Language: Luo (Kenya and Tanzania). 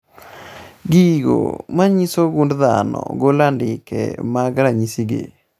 Gigo manyiso gund dhano golo andike mag ranyisi gi